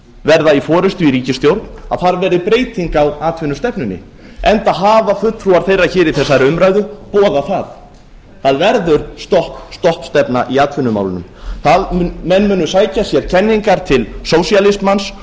verða í forustu í ríkisstjórn verði breyting á atvinnustefnunni enda hafa fulltrúar þeirra í þessari umræðu boðað það það verður stopp stopp stefna í atvinnumálunum menn munu sækja sér kenningar til sósíalismans